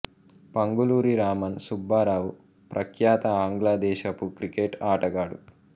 పంగులూరి రామన్ సుబ్బారావు ప్రఖ్యాత ఆంగ్ల దేశపు క్రికెట్ ఆటగాడు